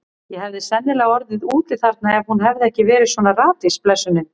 Ég hefði sennilega orðið úti þarna ef hún hefði ekki verið svona ratvís, blessunin.